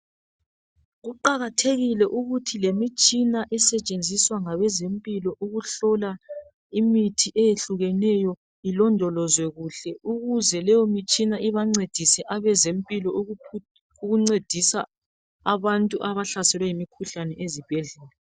Kuqakathekile ukuthi lemitshina esetshenziswa ngabezempilo ukuhlola imithi eyehlukeneyo ilondolozwe kuhle. Ukuze leyo mitshina ibancedise abezempilo ukuncedisa abantu abahlaselwe yimikhuhlane ezibhedlela.